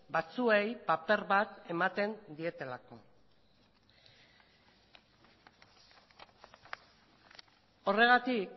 batzuei paper bat ematen dietelako horregatik